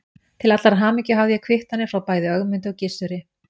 Til allrar hamingju hafði ég kvittanir frá bæði Ögmundi og Gizuri.